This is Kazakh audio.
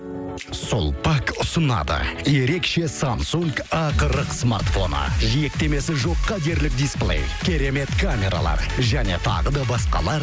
сулпак ұсынады ерекше самсунг а қырық смартфоны жиектемесі жоққа дерлік дисплей керемет камералар және тағы да басқалар